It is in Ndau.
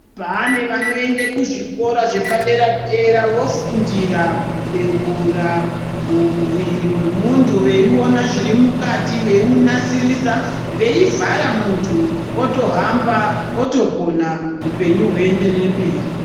Pane vanoende kuzvikora zvepadera dera vofundira kubhewura muviri wemundu veyiona zviri mukati veyinasirisa veyimuvhara mundu otohamba otopona hupenyu hwoyenderere mberi.